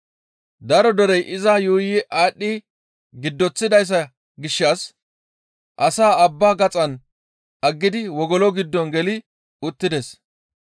Daro derey iza yuuyi aadhdhi giddoththida gishshas asaa abbaa gaxan aggidi wogolo giddo geli uttidi,